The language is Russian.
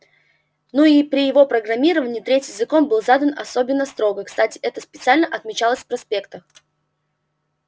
ну и при его программировании третий закон был задан особенно строго кстати это специально отмечалось в проспектах